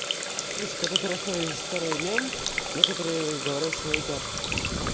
короче когда ты рассказываешь старый мем некоторые говорят что это